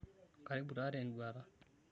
karibu taa te enduata